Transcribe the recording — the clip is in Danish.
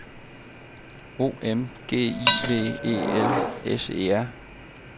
O M G I V E L S E R